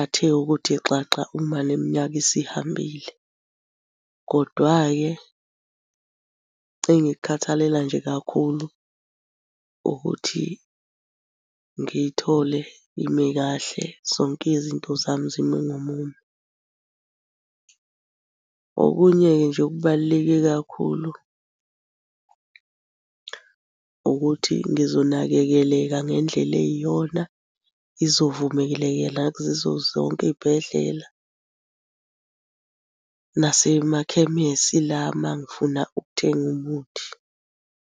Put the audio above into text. athe ukuthi xaxa uma neminyaka isihambile, kodwa-ke engikukhathalela nje kakhulu ukuthi ngiyithole ime kahle zonke izinto zami zime ngomumo. Okunye-ke nje okubaluleke kakhulu ukuthi ngizonakekeleka ngendlela eyiyona, izovumelekela yizo zonke iy'bhedlela nasemakhemisi lami uma ngifuna ukuthenga umuthi.